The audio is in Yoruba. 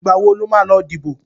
Ìgbà wo lo máa lọ dìbò?